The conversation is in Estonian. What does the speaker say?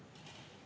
Aitäh, peaminister!